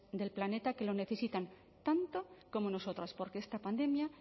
del planeta que lo necesitan tanto como nosotras porque esta pandemia